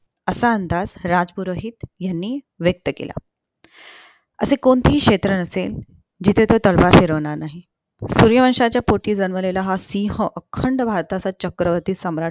असा अंदाज राजपुरोहित ह्यांनी व्यक्त केला असे कोणतेही क्षेत्र नसेल जिथे तो तलवार फिरवणार नाही सूर्यवंशच्या पोटी जन्मलेला हा सिहं अखंडः भारताचा चक्रवर्ती सम्राट